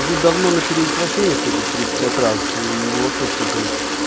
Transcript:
уже давно на перевоплощение хочет тридцать пять раз и его вообще все это